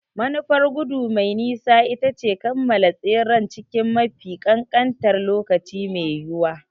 Manufar gudu mai nisa ita ce kammala tseren cikin mafi kankantar lokaci mai yiwuwa.